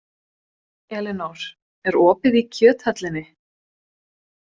Elinór, er opið í Kjöthöllinni?